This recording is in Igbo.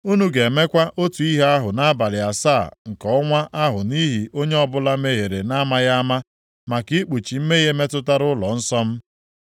Unu ga-emekwa otu ihe ahụ nʼabalị asaa nke ọnwa ahụ nʼihi onye ọbụla mehiere na-amaghị ama, maka ikpuchi mmehie metụtara ụlọnsọ m.